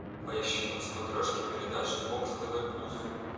поищи на смотрешке передачу бокс тв плюс